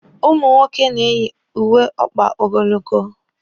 Ụmụ nwoke na-eyi uwe ọkpa ogologo.